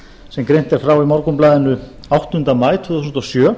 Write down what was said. sem greint er frá í morgunblaðinu áttunda maí tvö þúsund og sjö